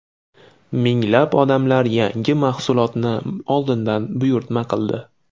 Minglab odamlar yangi mahsulotni oldindan buyurtma qildi.